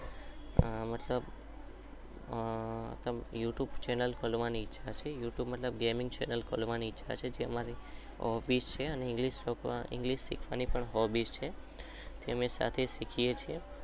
આ મતલબ આહ યોઉંતુંબે ચેનલ ખોલવાની